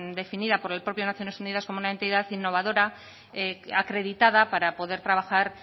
definida por la propia naciones unidas como una entidad innovadora acreditada para poder trabajar